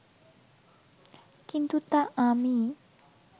কিন্তু তা আমি